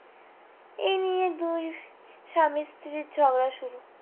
এই নিয়ে দুই স্বামী স্ত্রীর ঝগড়া শুরু